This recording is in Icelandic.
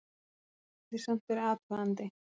Gæti samt verið athugandi!